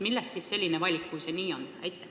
Millest selline valik, kui see nii on?